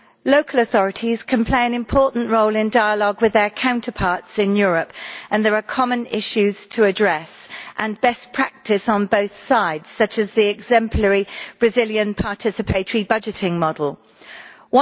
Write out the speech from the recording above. Local authorities can play an important role in dialogue with their counterparts in Europe. There are common issues to address, and best practice on both sides such as the exemplary Brazilian participatory budgeting model should be considered.